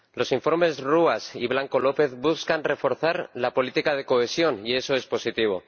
Señora Presidenta, los informes Ruas y Blanco López buscan reforzar la política de cohesión, y eso es positivo.